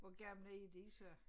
Hvor gamle er de så?